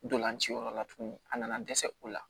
Ntolanci yɔrɔ la tuguni a nana dɛsɛ u la